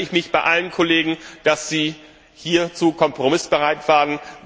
Ich bedanke mich bei allen Kollegen, dass sie hier so kompromissbereit waren.